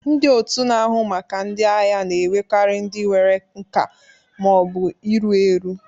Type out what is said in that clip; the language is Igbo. Ndị otu na-ahụ maka ndị agha na-ewekarị ndị nwere nka ma ọ bụ iru eru.